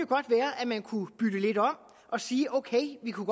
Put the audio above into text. godt være at man kunne bytte lidt om og sige ok vi kunne